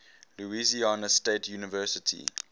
louisiana state university